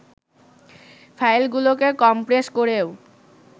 ফাইলগুলোকে compress করেও